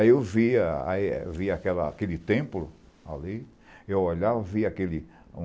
Aí eu via a é via aquela aquele templo ali, eu olhava, via aquele